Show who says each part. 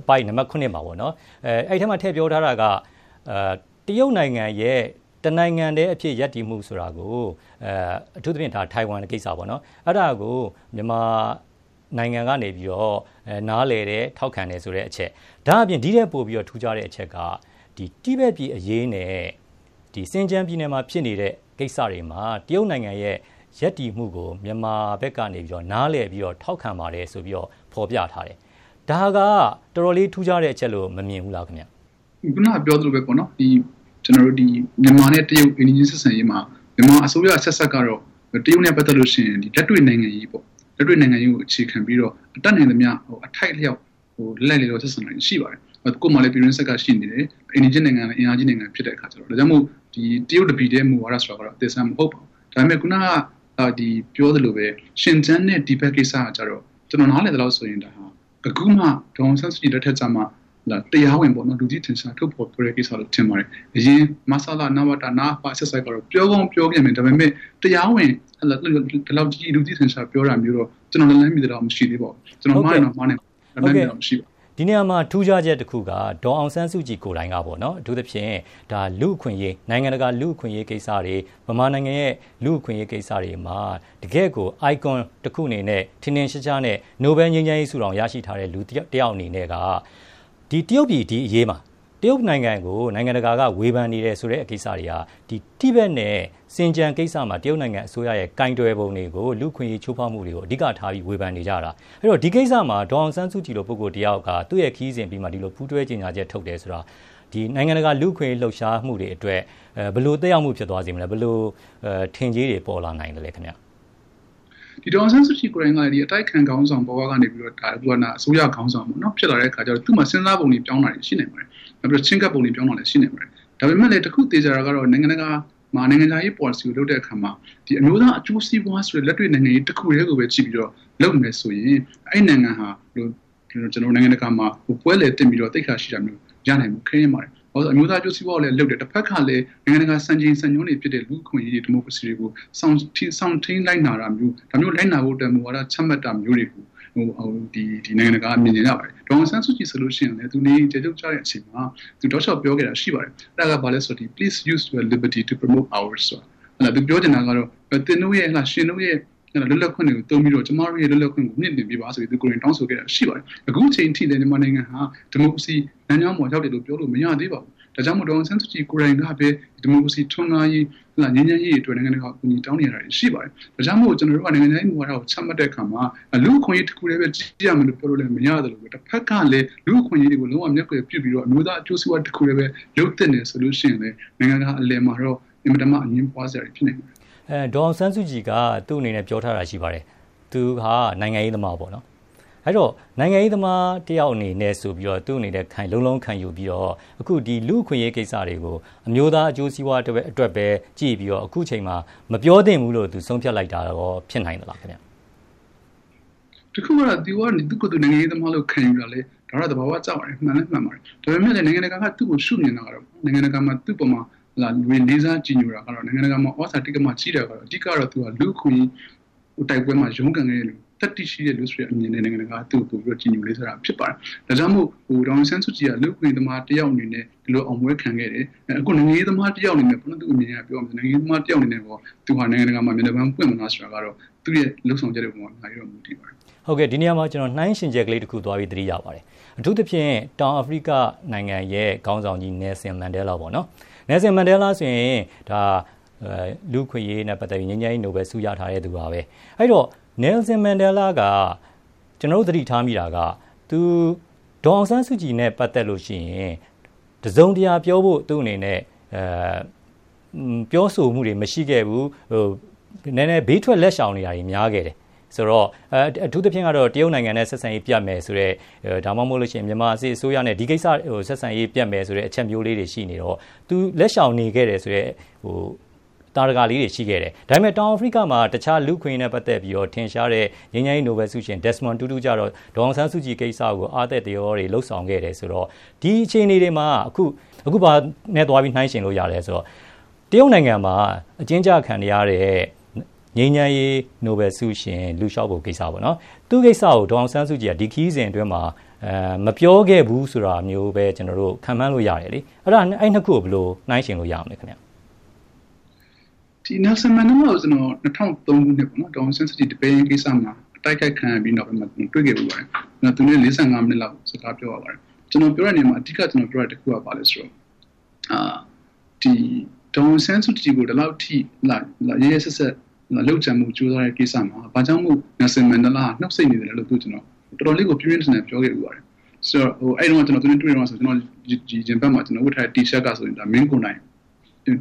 Speaker 1: အပိုဒ် နံပါတ် ၇ မှာပေါ့နော်။ အဲ့ဒီထဲမှာ ထည့်ပြော ထားတာက တရုတ်နိုင်ငံရဲ့ တနိုင်ငံတည်းအဖြစ် ရပ်တည်ဖို့ဆိုတာကို အထူးသဖြင့် ထိုင်ဝမ် ကိစ္စပေါ့နော်၊ အဲဒါကို မြန်မာနိုင်ငံ ကနေပြီးတော့ နားလည်တယ်၊ ထောက် ခံတယ် ဆိုတဲ့အချက်။ ဒါအပြင် ဒီ့ထက်ပိုပြီးတော့ ထူးခြားတဲ့ အချက်က ဒီ တိဘက် ပြည်အရေးနဲ့ ဒီရှင်ကျန်းပြည်နယ်မှာဖြစ်နေတဲ့ ကိစ္စတွေမှာ တရုတ်နိုင်ငံရဲ့ ရပ်တည် မှုကို မြန်မာဘက်ကနေပြီးတော့ နားလည်ပြီးတော့ ထောက်ခံပါတယ် ဆိုပြီးတော့ ဖော်ပြထားတယ်။ ဒါက တော်တော်လေး ထူးခြားတဲ့အချက်လို့ မမြင်ဘူးလားခင်ဗျာ။
Speaker 2: ခုန ပြောလိုပဲပေါ့နော်။ ဒီ ကျနော်တို့ ဒီ မြန်မာနဲ့ တရုတ်အိမ်နီးချင်း ဆက်ဆံရေးမှာ မြန်မာအစိုးရ အဆက်ဆက်ကတော့ တရုတ်နဲ့ပတ်သက်လို့ရှိရင် ဒီလက်တွေ့နိုင်ငံရေးပေါ့၊ လက်တွေ့နိုင်ငံရေးကို အခြေခံပြီးတော့ တတ်နိုင်သမျှ အထိုက်အလျှောက် လိုက်လိုက်ရောရော ဆက်ဆံတာတွေရှိပါတယ်။ ကိုယ့်မှာ လည်း ပြည်တွင်းစစ်က ရှိနေတယ်၊ အိမ်နီးချင်းနိုင်ငံကလည်း အင်အားကြီး နိုင်ငံဖြစ် တဲ့အခါကျတော့ ဒါကြောင့်မို့ တရုတ်တပြည်တည်းမူဝါဒ ဆိုဒါကတော့ အသစ်အဆန်း မဟုတ်ပါဘူး။ ဒါပေမယ့် ခုနပြောသလိုပဲ ရှင်ကျန်းနဲ့ တိဘက်ကိစ္စက ကျတော့ ကျနော်နားလည်သလောက်ဆိုရင် ဒါဟာ အခုမှ ဒေါ်အောင်ဆန်းစုကြည် လက်ထက်ကျမှ တရားဝင်ပေါ့နော်၊ လူသိရှင်ကြားထုတ်ဖော်ပြောတဲ့ ကိစ္စလို့ ထင် ပါတယ်။ အရင် မဆလ၊ နဝတ၊ နအဖ အဆက်ဆက်ကတော့ ပြောကောင်းပြော ခဲ့မယ် ဒါပေမယ့် တရားဝင် ဒီလောက်ကြီး သူသိရှင်ကြား ပြောဒါမျိုးတော့ ကျနော် လက်လှမ်းမီသလောက်တော့ မရှိသေးပါဘူး။ ကျနော်မှားရင်တော့ မှားနိုင်ပါတယ်။ လက်လှမ်းမီသလောက်မရှိသေးပါဘူး။
Speaker 1: ဟုတ်ကဲ့ ဒီနေရာမှာ ထူးခြားချက် တခုက ဒေါ်အောင်ဆန်း စုကြည် ကိုယ်တိုင်ကပေါ့နော် အထူးသဖြင့် ဒါလူ့အခွင့်အရေး၊ နိုင်ငံတကာ လူ့အခွင့်အရေး ကိစ္စတွေ၊ ဗမာနိုင်ငံရဲ့ လူ့အခွင့်အရေးကိစ္စတွေမှာ တကယ့်ကိုယ် Icon တခုအနေနဲ့ ထင်ထင်ရှားရှားနဲ့ နိုဘယ်လ်ငြိမ်းချမ်းရေး ဆုတောင် ရရှိထားတဲ့ လူတယောက်အနေနဲ့က ဒီတရုတ်ပြည် ဒီအရေးမှာ တရုတ်နိုင်ငံကို နိုင်ငံတကာ က ဝေဖန်နေတယ်ဆိုတဲ့ ကိစ္စတွေဟာ ဒီတိဘက်နဲ့ ရှင်ကျန်းကိစ္စမှာ တရုတ်နိုင်ငံ အစိုးရရဲ့ ကိုယ်တွယ်ပုံတွေကို လူ့အခွင့်အရေးချိုးဖောက်မှုတွေကို အဓိကထား ပြီးဝေဖန်နေကြတာ။ အဲဒီတော့ ဒီကိစ္စမှာ ဒေါ်အောင်ဆန်းစုကြည်လို ပုဂ္ဂိုလ် တစ်ယောက်က သူ့ရဲ့ခရီးစဉ်အပြီးမှာ ဒီလိုပူးတွဲကြေညာချက် ထုတ်တယ်ဆိုတာ ဒီနိုင်ငံတကာ လူ့အခွင့်အရေး လှုပ်ရှားမှုတွေ အတွက် ဘယ်လိုသက်ရောက်မှုဖြစ် သွားစေမလဲ၊ ဘယ်လို ထင်ကြေးတွေပေါ်လာနိုင်သလဲခင်ဗျာ။
Speaker 2: ဒီဒေါ်အောင်ဆန်းစုကြည်ကိုယ်တိုင်က ဒီ အတိုက်အခံခေါင်းဆောင် ဘ၀ ကနေပြီးတော့ ဒါအစိုးရခေါင်းဆောင်ဖြစ်လာတဲ့ အခါကျတော့ သူ့မှာ စဉ်းစား ပုံတွေပြောင်းနိုင်တာတွေ ရှိနိုင်ပါတယ်။ နောက်ပြီးတော့ ချဉ်းကပ်ပုံတွေပြောင်း နိုင်တာတွေ ရှိနိုင်ပါတယ်။ ဒါပေမယ့်လည်း တခုသေချာ တာကတော့ နိုင်ငံတကာ မှာ နိုင်ငံခြားရေးပေါ်လစီကိုလုပ်တဲ့အခါမှာ ဒီအမျိုးသားအကျိုးစီးပွားဆိုတဲ့ လက်တွေ့နိုင်ငံရေး တခုတည်းကိုပဲကြည့်ပြီးတော့ လုပ်နေမယ်ဆိုရင် အဲဒီနိုင်ငံဟာ ကျနော် တို့ နိုင်ငံတကာမှာ ပွဲလည်တင့်ပြီးတော့ သိက္ခာရှိတာမျိုး ရနိုင်ဖို့ ခဲယဉ်းပါတယ်။ ဘာဖြစ်လည်းဆိုတော့ အမျိုးသားအကျိုး စီးပွားကိုလည်းလုပ်တယ်၊ တဘက်က လည်း နိုင်ငံတကာ စံချိန်စံနှုန်းတွေဖြစ်တဲ့ လူ့အခွင့်အရေးတွေ၊ ဒီမိုကရေစီတွေ ကို စောင့်ထိန်း လိုက်နာတာမျိုး၊ ဒါမျိုးလိုက်နာဖို့အတွက် မူဝါဒချမှတ်တာ မျိုးတွေကို နိုင်ငံတကာကမြင် ချင်ကြပါတယ်။ ဒေါ်အောင်ဆန်းစုကြည်ဟာ ဆိုလို့ရှိရင်လည်း သူနေအိမ်အကျယ်ချုပ် ကျတဲ့အချိန်မှာ သူထောက်လျှောက်ပြောခဲ့တာရှိပါတယ်။ အဲဒါကဘာလဲဆို ဒီ please use your liberty to promote ours, သူပြောချင်တာကတော့ သင်တို့ရဲ့၊ ရှင်တို့ရဲ့ လွတ်လပ် ခွင့်တွေကိုသုံးပြီးတော့ ကျမတို့ရဲ့ လွတ်လပ်ခွင့်တွေကိုမြှင့်တင်ပေးပါ ဆိုပြီးတော့ သူကိုယ်တိုင် တောင်းဆိုခဲ့တာတွေရှိပါတယ်။ အခုအချိန်ထိလည်း မြန်မာနိုင်ငံဟာ ဒီမိုကရေစီ လမ်းကြောင်းပေါ်ရောက်တယ်လို့ ပြောလို့ မရသေးပါဘူး။ ဒါကြောင့် မို့ ဒေါ်အောင်ဆန်းစုကြည် ကိုယ်တိုင်ကပဲ ဒီမိုကရေစီထွန်းကားရေး၊ ငြိမ်းချမ်းရေးတွေ အတွက် နိုင်ငံတကာကို အကူအညီတောင်းနေ တာတွေရှိပါတယ်။ ဒါကြောင့်မို့ ကျနော်တို့က နိုင်ငံခြားရေး မူဝါဒကိုချမှတ်တဲ့အခါမှာ လူ့အခွင့်အရေး တခုပဲကြည့်ရမယ်လို့ ပြောလို့လည်းမရသလို တဘက်ကလည်း လူ့အခွင့်အရေးတွေ ကို လုံးဝမျက်ကွယ်ပြုု ပြီးတော့ အမျိုးသားအကျိုးစီးပွား တခုထဲပဲ လုပ်သင့်တယ် ဆိုလို့ရှိရင်လည်း နိုင်ငံတကာအလယ်မှာတော့ အင်မတန်မှ အငြင်းပွားစရာတွေ ဖြစ်နိုင်ပါတယ်။
Speaker 1: ဒေါ်အောင်ဆန်းစုကြည်က သူ့အနေနဲ့ ပြောထားတာရှိပါတယ်။ သူဟာ နိုင်ငံရေးသမားပေါ့နော်။ အဲ့တော့ နိုင်ငံရေးသမားတစ်ယောက်အနေနဲ့ ဆိုပြီးတော့ သူ့အနေနဲ့ လုံးလုံးခံယူပြီးတော့ အခုဒီလူ့အခွင့်အရေးကိစ္စတွေကို အမျိုးသားအကျိုးစီးပွား အတွက်ပဲ ကြည့်ပြီးတော့ အခုချိန်မှာ မပြောသင့်ဘူးလို့ သူဆုံးဖြတ်လိုက်တာရော ဖြစ်နိုင်သလားခင်ဗျာ။
Speaker 2: တခုက သူကနေ သူ့ကိုယ်သူ နိုင်ငံရေးသမားလို့ခံယူ တာလည်း ဒါက သဘာ၀ ကျပါတယ်။ မှန်လည်းမှန်ပါတယ်။ ဒါပေမယ့်လည်း နိုင်ငံတကာက သူ့ကို ရှု့မြင်တာကတော့ နိုင်ငံတကာက သူ့အပေါ်မှာ လေးစားကြည်ညိုတာ ကတော့ နိုင်ငံ တကာမှာ သြဇာတိက္ကမကြီးတာကတော့ အဓိကတော့ သူဟာ လူ့အခွင့်အရေး တိုက်ပွဲမှာ ရုန်းကန်ခဲ့တဲ့လူ သတ္တိရှိတဲ့ လူဆိုတဲ့အမြင်နဲ့ နိုင်ငံ တကာက သူ့ကိုပိုပြီးတော့ ကြည်ညိုလေးစားတာဖြစ်ပါတယ်။ ဒါကြောင့်မို့ ဒေါ်အောင်ဆန်းစုကြည်ဟာ လူ့အခွင့်အရေးသမား တယောက်အနေနဲ့ ဒီလိုအောင်ပွဲခံခဲ့တယ်၊ အခုနိုင်ငံရေးသမားတယောက်အနေနဲ့ကော သူဟာနိုင်ငံ တကာမှာ မျက်နှာပန်း ပွင့်မလား ဆိုတာကတော့ သူ့ရဲ့လုပ်ဆောင်ချက်အပေါ် အများကြီးမူတည်ပါတယ်။
Speaker 1: ဟုတ်ကဲ့ ဒီနေရာမှာကျနော် နှိုင်းယှဉ်ချက်လေးတခု သွားသတိရ ပါတယ်။ အထူးသဖြင့် တောင်အာဖရိက နိုင်ငံရဲ့ ခေါင်းဆောင်ကြီးNelson Mandela ပေါ့နော်။ Nelson Mandela ဆိုရင် လူ့အခွင့်အရေးနဲ့ ပတ်သက်ပြီး ငြိမ်းချမ်းရေး နိုဘယ်လ်ဆု ရထားတဲ့သူပါပဲ။ အဲဒီတော့ Nelson Mandela က ကျနော်တို့ သတိထားမိတာက ဒေါ်အောင်ဆန်းစုကြည်နဲ့ပတ်သက်ရင် တစုံတရာပြောဖို့သူ့အနေနဲ့ ပြောဆိုမှုတွေမရှိခဲ့ဘူး ၊ နည်းနည်း ဘေးထွက်လက်ရှောင်နေတာတွေများခဲ့တယ်။ ဆိုတော့ အထူးသဖြင့်ကတော့ တရုတ်နိုင်ငံနဲ့ ဆက်ဆံရေး ပျက်မယ်ဆိုတဲ့ ၊ ဒါမှမဟုတ်လို့ရှိရင် မြန်မာစစ်အစိုးရနဲ့ ဒီကိစ္စနဲ့ ဆက်ဆံရေးပျက်မယ်ဆိုတဲ့ အချက်မျိုးလေးတွေရှိနေတော့ သူလက်ရှောင်နေခဲ့တဲ့ သာဓကလေးတွေရှိခဲ့တယ်။ ဒါပေမယ့် တောင်အာဖရိက မှာက တခြားလူ့အခွင့်အရေးနဲ့ ပတ်သက်ပြီးတော့ ထင်ရှားတဲ့ ငြိမ်းချမ်းရေး နိုဘယ်လ်ဆုရှင် Desmond Tutu ကတော့ ဒေါ်အောင်ဆန်းစုကြည်ကိစ္စကို အားတက်သရောတွေ လုပ်ဆောင်ခဲ့တယ် ဆိုတဲ့ကိစ္စတွေဆိုတော့ ဒီအခြေအနေတွေမှာ အခုဘာနဲ့သွားပြီး နှိုင်းယှဉ်လို့ရသလဲ ဆိုတော့ တရုတ်နိုင်ငံမှာ အကျဉ်းကျခံနေရတဲ့ ငြိမ်းချမ်းရေး နိုဘယ်လ်ဆုရှင် Liu Xiaobo ကိစ္စပေါ့နော် ။ သူ့ကိစ္စကို ဒေါ်အောင်ဆန်းစုကြည်က ဒီခရီးစဉ်အတွင်းမှာ မပြောခဲ့ဘူးဆိုတာမျိုးပဲ ကျနော်တို့ခန့်မှန်းလို့ရတယ်လေ။ ဆိုတော့ အဲဒီ ၂ ခုကို ဘယ်လိုနှိုင်းယှဉ်လို့ရမလဲ။
Speaker 2: Nelson Mandela ကိုတော့ ကျနော် ၂၀၀၃ ခုနှစ် ဒေါ်အောင်ဆန်း စုကြည် ဒီပဲယင်းကိစ္စမှာ တိုက်ခိုက်ခံရပြီးနောက်ပိုင်းမှာ တွေ့ခဲ့ပါတယ်။ သူနဲ့ ၄၅ မိနစ်လောက်စကားပြောရပါတယ်။ ကျနော်ပြောတဲ့နေရာမှာ အဓိကပြောတာက ဘာလဲဆိုတော့ ဒေါ်အောင်ဆန်းစုကြည် ကို ဒီလောက်အထိ ရက်ရက်စက်စက် လုပ်ကြံဖို့ ကြိုးစားတဲ့ ကိစ္စမှာ ဘာကြောင့်မို့လို့ Nelson Mandela က နှုတ်ဆိတ်နေ သလဲဆိုပြီးတော့ တော်တော်လေးကို ပြင်းပြင်းထန်ထန် ကျနော်ပြောခဲ့ဖူးပါတယ်။ အဲဒီတုန်းက ကျနော်သူနဲ့တွေ့တုန်းကဆိုရင် ရင်ဘက်က ကျနော်ဝတ်ထားတဲ့ တီရှပ်တောင်မှ မင်းကိုနိုင်